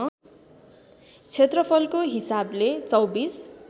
क्षेत्रफलको हिसाबले २४